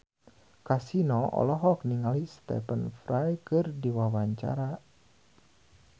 Kasino olohok ningali Stephen Fry keur diwawancara